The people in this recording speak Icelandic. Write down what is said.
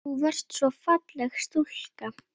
Þú varst svo falleg stúlka.